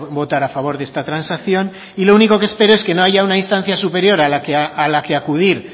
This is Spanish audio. votar a favor de esta transacción y lo único que espero es que no haya una instancia superior a la que acudir